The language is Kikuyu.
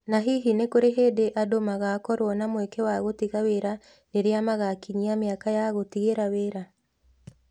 Na hihi nĩ kũrĩ hĩndĩ andũ magaakorũo na mweke wa gũtiga wĩra rĩrĩa magakinyia mĩaka ya gũtigĩra wĩra?